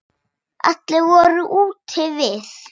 Allir voru úti við.